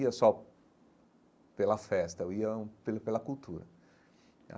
Eu não ia só pela festa, eu ia pelo pela cultura.